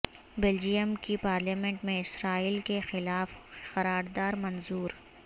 Belgium کی parliament میں Israel کیخلاف قرارداد منظور